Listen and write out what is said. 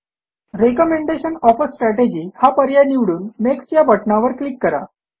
recommendation of uh strategy हा पर्याय निवडून नेक्स्ट या बटणावर क्लिक करा